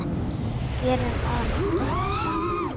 Gerðum allt saman.